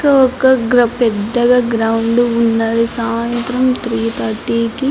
ఒక పెద్దగా గ్రౌండ్ ఉన్నది. సాయంత్రం త్రి థర్టీ కి --